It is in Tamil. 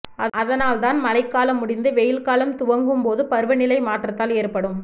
அதனால் தான் மழைகாலம் முடிந்து வெயில்காலம் துவங்கும்போது பருவநிலை மாற்றத்தால் ஏற்படும்